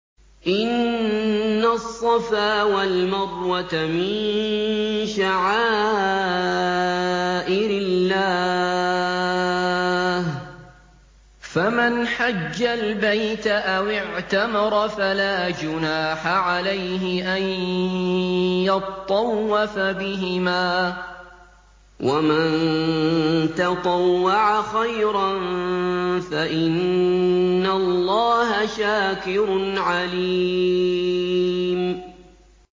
۞ إِنَّ الصَّفَا وَالْمَرْوَةَ مِن شَعَائِرِ اللَّهِ ۖ فَمَنْ حَجَّ الْبَيْتَ أَوِ اعْتَمَرَ فَلَا جُنَاحَ عَلَيْهِ أَن يَطَّوَّفَ بِهِمَا ۚ وَمَن تَطَوَّعَ خَيْرًا فَإِنَّ اللَّهَ شَاكِرٌ عَلِيمٌ